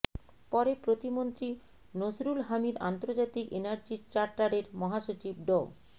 পরে প্রতিমন্ত্রী নসরুল হামিদ আন্তর্জাতিক এনার্জি চার্টারের মহাসচিব ড